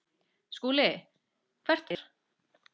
SKÚLI: Hvert var erindi yðar?